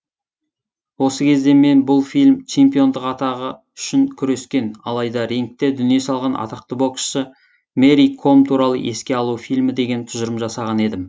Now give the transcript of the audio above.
осы кезде мен бұл фильм чемпиондық атағы үшін күрескен алайда рингте дүние салған атақты боксшы мэри ком туралы еске алу фильмі деген тұжырым жасаған едім